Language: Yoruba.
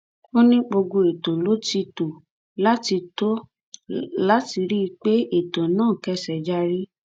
ó ní gbogbo ètò ló ti tó láti tó láti rí i pé ètò náà kẹsẹ járí